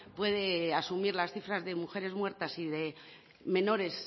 puede asumir las cifras de mujeres muertas y de menores